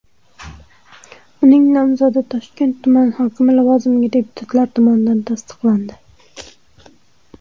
Uning nomzodi Toshkent tumani hokimi lavozimiga deputatlar tomonidan tasdiqlandi.